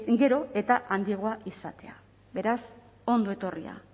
gero eta handiagoa izatea beraz ondo etorria